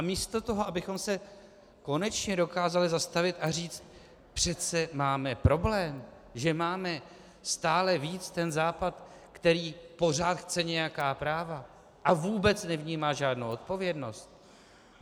A místo toho, abychom se konečně dokázali zastavit a říct: přece máme problém, že máme stále víc ten Západ, který pořád chce nějaká práva a vůbec nevnímá žádnou odpovědnost.